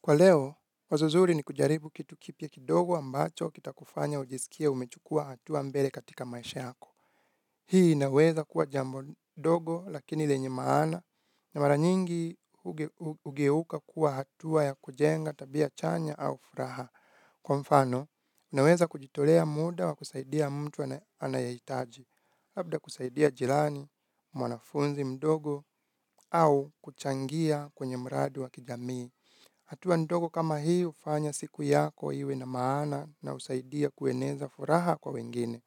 Kwa leo, wazo zuri ni kujaribu kitu kipya kidogo ambacho kitakufanya ujisikie umechukua hatua mbele katika maisha yako. Hii inaweza kuwa jambo ndogo lakini lenye maana na mara nyingi hugeuka kuwa hatua ya kujenga tabia chanya au furaha. Kwa mfano, naweza kujitolea muda wa kusaidia mtu anayehitaji. Labda kusaidia jirani, mwanafunzi mdogo au kuchangia kwenye mradi wa kijamii. Hatua ndogo kama hii hufanya siku yako iwe na maana na husaidia kueneza furaha kwa wengine.